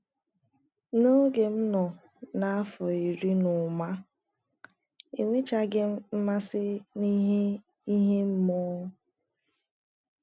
n'oge m nọọ na afọ iri n'ụma ,Enwechaghị m mmasị n’ihe ime mmụọ.